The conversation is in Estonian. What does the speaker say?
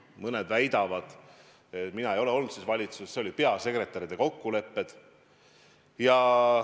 Mõned väidavad – mina ei olnud selles valitsuses –, et need oli peasekretäride kokkulepped.